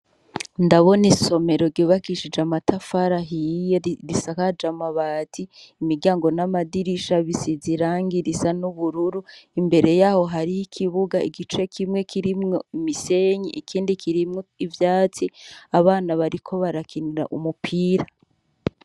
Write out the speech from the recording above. Ndabona isomero gibakishije amatafarahiye risaka je amabati imiryango n'amadirisha bisi zirangirisa n'ubururu imbere yaho hariho ikibuga igice kimwe kirimwo imisenyi ikindi kirimwo ivyatsi abana bariko barakinira umupira.